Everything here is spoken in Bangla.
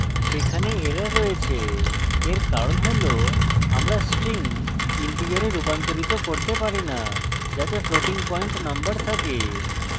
সেখানে error রয়েছে we কারণ হল আমরা string integer রুপান্তরিত করতে পারি না যাতে floating পয়েন্ট number থাকে